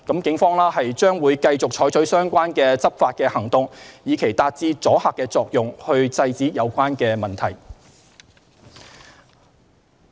警方將會繼續採取相關執法行動，以期達至阻嚇作用，遏止有關問題。